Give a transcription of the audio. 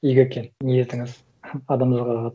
игі екен ниетіңіз адамдарға қатыс